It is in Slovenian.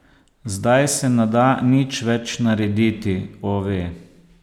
Zdaj se ne da nič več narediti, Ove.